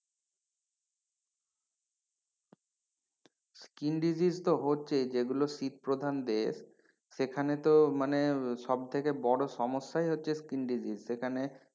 Skin disease তো হচ্ছে যেগুলো শীত প্রধান দেশ সেখানে তো মানে সব থেকে বড় সমস্যাই হচ্ছে skin disease সেখানে,